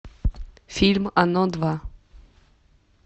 фильм оно два